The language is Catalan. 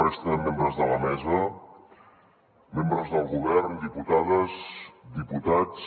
resta de membres de la mesa membres del govern diputades diputats